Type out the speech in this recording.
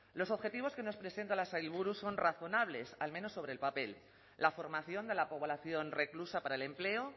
los objetivos que nos presenta la sailburu son razonables al menos sobre el papel la formación de la población reclusa para el empleo